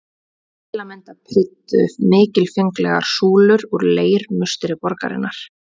Til að mynda prýddu mikilfenglegar súlur úr leir musteri borgarinnar.